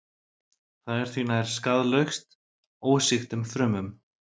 Það er því nær skaðlaust ósýktum frumum.